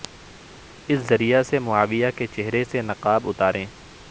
اس زریعہ سے معاویہ کے چہرے سے نقاب اتاریں